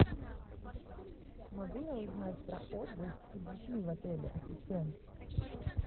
могу я узнать про отдых с детьми в отеле ассистент